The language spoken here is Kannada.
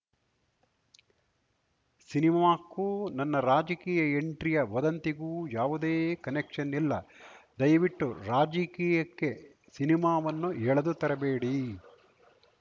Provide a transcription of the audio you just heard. ಸಿನಿಮಾಕ್ಕೂ ನನ್ನ ರಾಜಕೀಯ ಎಂಟ್ರಿಯ ವದಂತಿಗೂ ಯಾವುದೇ ಕನೆಕ್ಷನ್‌ ಇಲ್ಲ ದಯವಿಟ್ಟು ರಾಜಕೀಯಕ್ಕೆ ಸಿನಿಮಾವನ್ನು ಎಳೆದು ತರಬೇಡಿ